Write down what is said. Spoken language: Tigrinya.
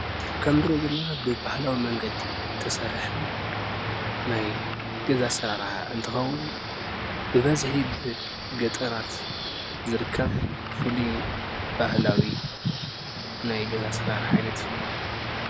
ከምዚ ንሪኦ ዘለና ብባህላዊ መምገዲ ዝተሰርሐ ናይ ገዛ ኣሰራርሓ እንትከዉን ብበዝሒ ብገጠራት ዝርከብ ፍሉይ ባህላዊ ናይ ገዛ ኣሰራርሓ ዓይነት እዩ ።